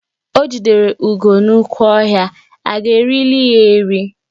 O jidere ugo n'oke ọhịa, a ga erili ya eri?